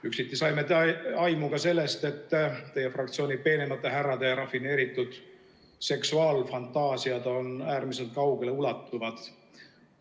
Üksiti saime aimu ka sellest, et teie fraktsiooni peenemate härrade rafineeritud seksuaalfantaasiad on äärmiselt kaugeleulatuvad.